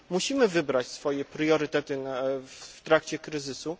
Musimy wybrać swoje priorytety w trakcie kryzysu.